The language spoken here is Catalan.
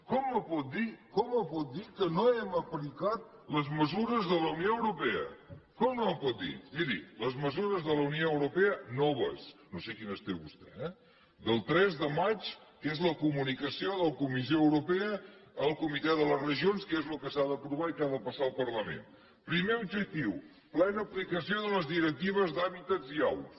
com em pot dir com m’ho pot dir que no hem aplicat les mesures de la unió europea com m’ho pot dir miri les mesures de la unió europea noves no sé quines té vostè eh del tres de maig que és la comunicació de la comissió europea al comitè de les regions que és el que s’ha d’aprovar i que ha de passar al parlament primer objectiu plena aplicació de les directives d’hàbitats i aus